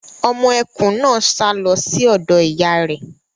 Ọmọ ẹkùn náà sá lọ sí ọ̀dọ̀ ìyá ẹ̀.